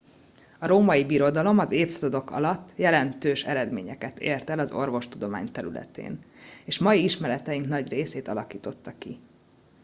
a római birodalom az évszázadok alatt jelentős eredményeket ért el az orvostudomány területén és mai ismereteink nagy részét alakította ki